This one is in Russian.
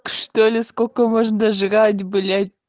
что ли сколько можно жрать блять